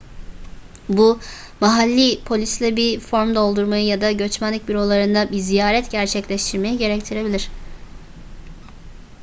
bu mahalli polisle bir form doldurmayı ya da göçmenlik bürolarına bir ziyaret gerçekleştirmeyi gerektirebilir